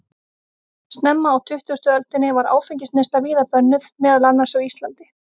Snemma á tuttugustu öldinni var áfengisneysla víða bönnuð, meðal annars á Íslandi.